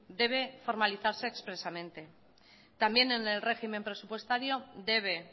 debe formalizarse expresamente también en el régimen presupuestario debe